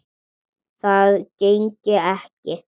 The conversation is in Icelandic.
Það gengi ekki